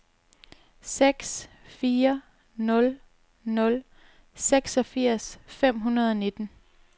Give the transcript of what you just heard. seks fire nul nul seksogfirs fem hundrede og nitten